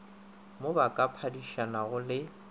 mo ba ka phadišanago le